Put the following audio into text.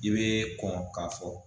I bɛ kɔn ka fɔ.